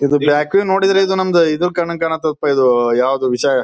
ಇದು ಯಾಕೋ ನೋಡಿದ್ರ ನಂಬುದು ಇದು ಕನ್ನಂಗ್ ಕಾಣುತ್ತೆ ಇದು ಯಾವ್ದು ವಿಷಯ--